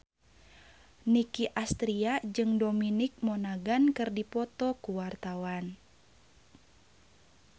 Nicky Astria jeung Dominic Monaghan keur dipoto ku wartawan